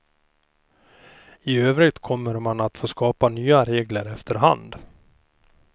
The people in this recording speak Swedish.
I övrigt kommer man att få skapa nya regler efter hand.